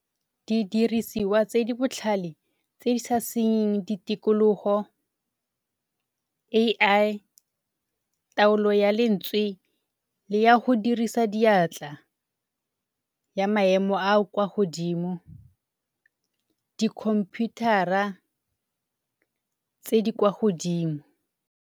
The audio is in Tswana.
Didiriswa tse di botlhale tse di sa senyeng di tikologo A_I, taolo ya lentswe le ya go dirisa diatla ya maemo a a kwa godimo, dikhomphuthara tse di kwa godimo.